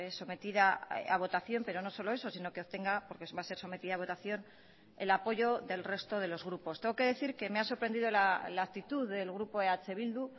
sometida a votación pero no solo eso sino que obtenga porque va a ser sometida a votación el apoyo del resto de los grupos tengo que decir que me ha sorprendido la actitud del grupo eh bildu